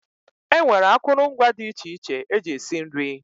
E nwere akụrụngwa dị iche iche eji esi nri.